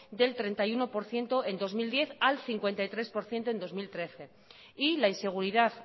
del treinta y uno por ciento en dos mil diez al cincuenta y tres por ciento en dos mil trece y la inseguridad